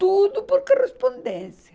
Tudo por correspondência.